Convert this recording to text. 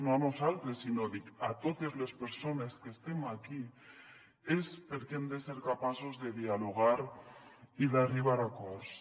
no a nosaltres sinó dic a totes les persones que estem aquí és perquè hem de ser capaços de dialogar i d’arribar a acords